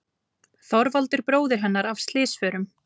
Þorvaldur bróðir hennar af slysförum.